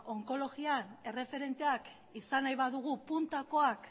onkologian erreferenteak izan nahi badugu puntakoak